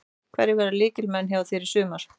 Hverjir verða lykilmenn hjá þér í sumar?